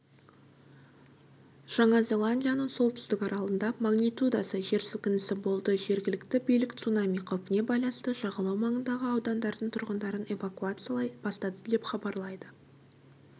жаңа зеландияның солтүстік аралында магнитудасы жер сілкінісі болды жергілікті билік цунами қаупіне байланысты жағалау маңындағы аудандардың тұрғындарын эвакуациялай бастады деп хабарлайды